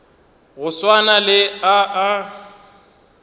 go swana le a a